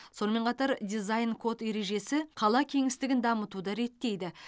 сонымен қатар дизайн код ережесі қала кеңістігін дамытуды реттейді